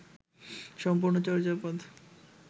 সম্পূর্ণ চর্যাপদ